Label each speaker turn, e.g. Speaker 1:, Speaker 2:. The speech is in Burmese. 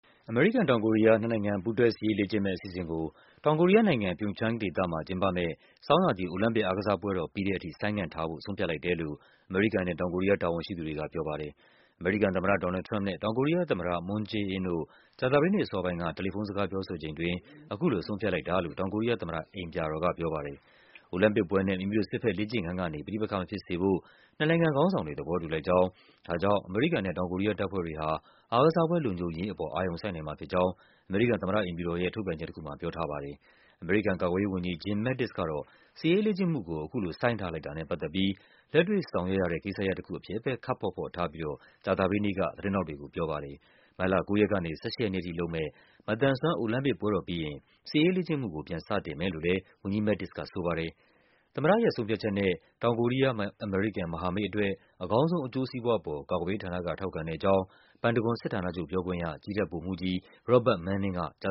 Speaker 1: အမေရိကန်-တောင်ကိုရီးယား နှစ်နိုင်ငံ ပူးတွဲ စစ်ရေးလေ့ကျင့်မယ့်အစီအစဉ်ကို တောင်ကိုရီးယားနိုင်ငံ၊ Pyeongchang ဒေသမှာ ကျင်းပမယ့် ဆောင်းရာသီ အိုလံပစ်အားကစားပွဲတော် ပြီးတဲ့အထိ ဆိုင်းငံ့ထားဖို့ ဆုံးဖြတ်လိုက်တယ်လို့ အမေရိကန်နဲ့ တောင်ကိုရီးယား တာဝန်ရှိသူတွေက ပြောပါတယ်။ အမေရိကန်သမ္မတ ဒေါ်နယ်လ်ဒ် ထရမ့်ပ်နဲ့ တောင်ကိုရီးယားသမ္မတ Moon Jae-in တို့ ကြာသပတေးနေ့အစောပိုင်းက တယ်လီဖုန်းစကား ပြောဆိုချိန်အတွင်း အခုလို ဆုံးဖြတ်လိုက်တာလို့ တောင်ကိုရီးယားသမ္မတအိမ်ပြာတော်က ပြောပါတယ်။ အိုလံပစ်ပွဲနဲ့ မိမိတို့စစ်ဘက်လေ့ကျင့်ခန်းကနေ ပဋိပက္ခမဖြစ်စေဖို့ နှစ်နိုင်ငံခေါင်းဆောင်တွေ သဘောတူလိုက်ကြောင်း၊ ဒါကြောင့် အမေရိကန်နဲ့ တောင်ကိုရီးယား တပ်ဖွဲ့တွေဟာ အားကစားပွဲလုံခြုံရေးအပေါ် အာရုံစိုက်နိုင်မှာဖြစ်ကြောင်း အမေရိကန် သမ္မတ အိမ်ဖြူတော်ရဲ့ ထုတ်ပြန်ချက်တခုမှာ ပြောထားပါတယ်။ အမေရိကန်ကာကွယ်ရေးဝန်ကြီး Jim Mattis ကတော့ စစ်ရေးလေ့ကျင့်မှုကို အခုလို ဆိုင်းထားလိုက်တာနဲ့ပတ်သက်ပြီး လက်တွေ့ဆောင်ရွက်ရတဲ့ ကိစ္စရပ်တခုအဖြစ်ပဲ ခပ်ဖော့ဖော့ထားပြီး ကြာသပတေးနေ့က သတင်းထောက်တွေကိုပြောပါတယ်။ မတ်လ ၉ ရက်ကနေ ၁၈ ရက်နေ့အထိလုပ်မယ့် မသန်စွမ်း အိုလံပစ်ပွဲတော်ပြီးရင် စစ်ရေးလေ့ကျင့်မှုကို ပြန်လုပ်မယ်လို့လဲ ဝန်ကြီး Mattis ကဆိုပါတယ်။ သမ္မတရဲ့ဆုံးဖြတ်ချက်နဲ့ တောင်ကိုရီးယား-အမေရိကန် မဟာမိတ်အတွက် အကောင်းဆုံး အကျိုးစီးပွားအပေါ် ကာကွယ်ရေးဌာန က ထောက်ခံတဲ့အကြောင်း ပန်တဂွန်စစ်ဌာနချုပ်ပြောခွင့်ရ ကြည်းတပ်ဗိုလ်မှူး
Speaker 2: ကြီး Robert Manning က ကြ